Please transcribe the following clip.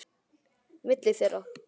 Milli þeirra